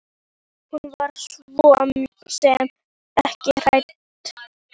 Hún var svo sem ekki hrædd en.